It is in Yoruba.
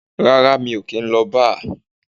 Rárá, mi ò kì í lọ bar.